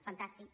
fantàstic